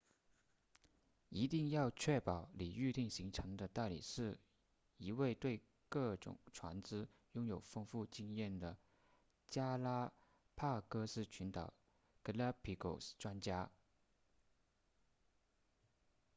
一定要确保你预订行程的代理是一位对各种船只拥有丰富知识的加拉帕戈斯群岛 galapagos 专家